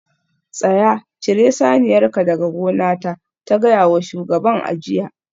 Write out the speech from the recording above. Tsaya! cire saniyarka daga gonata ta gaya wa shugaban a jiya